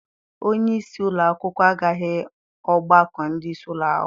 Onyeisi ụlọakwụkwọ agaghị ọgbakọ ndị isi ụlọakwụkwọ.